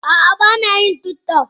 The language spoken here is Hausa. Ah ah bana yin tiktok.